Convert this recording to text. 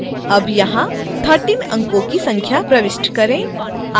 अब यहां 13 अंकों की संख्या प्रविष्ट करें